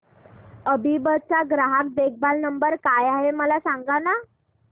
अभिबस चा ग्राहक देखभाल नंबर काय आहे मला सांगाना